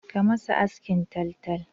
Ka masa askin taltal!